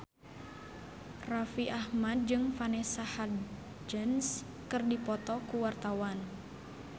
Raffi Ahmad jeung Vanessa Hudgens keur dipoto ku wartawan